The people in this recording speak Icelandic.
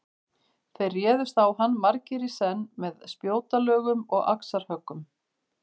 Þeir réðust á hann margir í senn með spjótalögum og axarhöggum.